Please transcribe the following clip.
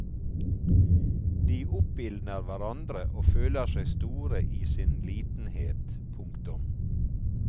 De oppildner hverandre og føler seg store i sin litenhet. punktum